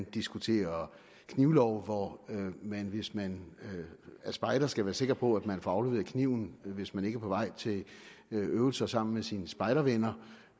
diskuterer en knivlov hvor man hvis man er spejder skal være sikker på at man får afleveret kniven hvis man ikke er på vej til øvelser sammen med sine spejdervenner